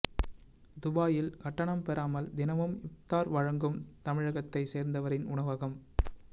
துபாயில் கட்டணம் பெறாமல் தினமும் இப்தார் வழங்கும் தமிழகத்தை சேர்ந்தவரின் உணவகம்